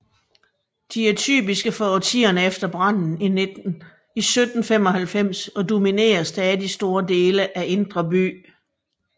De er typiske for årtierne efter branden i 1795 og dominerer stadig store dele af Indre By